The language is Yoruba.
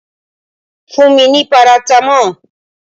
Fún mi ní paratamọ́ọ̀!